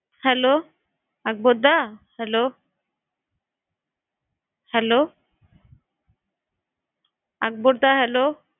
Hello Akbar দা। Hello Hello Akbar দা Hello